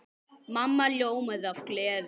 Mamma ljómaði af gleði.